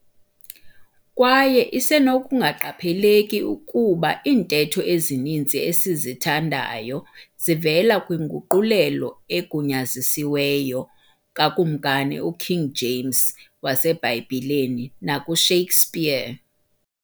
kwaye isenokungaqheleki, ukuba iintetho ezininzi esizithandayo zivela kwinguqulelo equnyazisiweyo kakumkani uKing james wasebhayibhileni, nakuShakesspear.